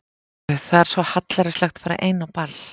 Guð, það er svo hallærislegt að fara ein á ball.